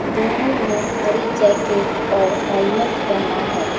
दोनों ने हरी जैकेट और हेलमेट पहना है।